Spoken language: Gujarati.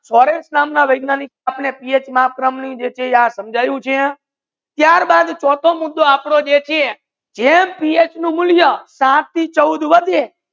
સોરેન નામ ના વૈજ્ઞાનિક આપડે PH માતરમ જે છે એ સમજ્યું છે ત્યાર બાદ ચોથો મુદ્દો આપડો એ જે છે જેમ PH નુ મુલ્યા સાત થી ચૌદ વધે